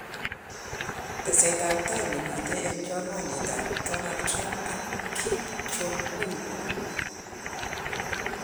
Teset ab tai nemiten en chorwandit ab Donald Trump ak Kim Jong Un